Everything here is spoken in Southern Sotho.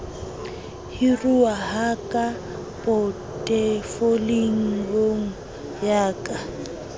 hiruwa ha ka potefoliong ya